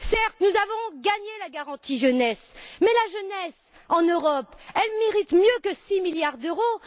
Certes, nous avons obtenu la garantie pour la jeunesse, mais la jeunesse en Europe mérite mieux que 6 milliards d'euros.